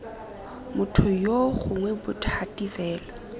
motho yoo gongwe bothati fa